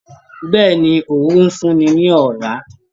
Bẹ́ẹ̀ni, Òróró ń fún ni ní ọ̀rá.